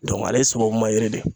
ale sababuma yiri de